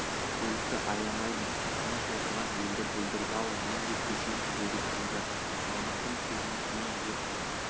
көлікті аямаймын тыныш отырған елді бүлдірді ау мен де көшемін деді күжбан мамыттың сөзінен кейін жұрт